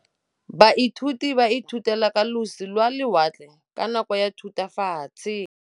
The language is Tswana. Baithuti ba ithutile ka losi lwa lewatle ka nako ya Thutafatshe.